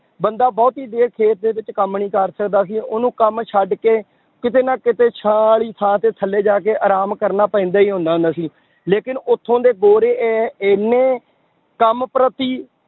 ਬੰਦਾਂ ਬਹੁਤੀ ਦੇਰ ਖੇਤ ਦੇ ਵਿੱਚ ਕੰਮ ਨੀ ਕਰ ਸਕਦਾ ਸੀ ਉਹਨੂੰ ਕੰਮ ਛੱਡ ਕੇ ਕਿਤੇ ਨਾ ਕਿਤੇ ਛਾਂ ਵਾਲੀ ਥਾਂ ਤੇ ਥੱਲੇ ਜਾ ਕੇ ਆਰਾਮ ਕਰਨਾ ਪੈਂਦਾ ਹੀ ਹੁੰਦਾ ਹੁੰਦਾ ਸੀ, ਲੇਕਿੰਨ ਉੱਥੋਂ ਦੇ ਗੋਰੇ ਇਹ ਇੰਨੇ ਕੰਮ ਪ੍ਰਤੀ